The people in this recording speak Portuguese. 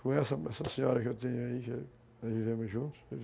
Com essa senhora que eu tenho aí, nós vivemos juntos.